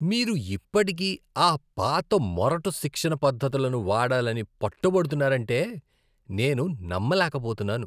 మీరు ఇప్పటికీ ఆ పాత, మొరటు శిక్షణ పద్ధతులను వాడాలని పట్టుబడుతున్నారంటే నేను నమ్మలేకపోతున్నాను!